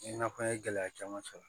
I n'a fɔ an ye gɛlɛya caman sɔrɔ